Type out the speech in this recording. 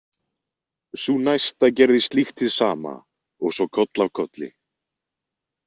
Sú næsta gerði slíkt hið sama og svo koll af kolli.